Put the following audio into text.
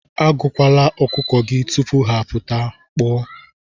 Agụkwala ọkụkọ gị tupu ha apụta, kpoo.